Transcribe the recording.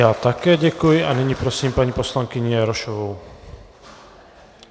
Já také děkuji a nyní prosím paní poslankyni Jarošovou.